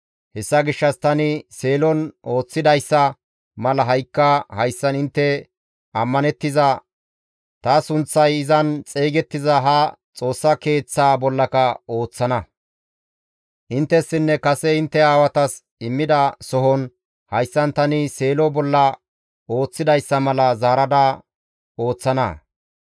Hessa gishshas tani Seelon ooththidayssa mala ha7ikka hayssan intte ammanettiza, ta sunththay izan xeygettiza ha Xoossa Keeththaa bollaka ooththana; inttessinne kase intte aawatas immida sohon hayssan tani Seelo bolla ooththidayssa mala zaarada ooththana.